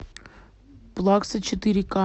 плакса четыре ка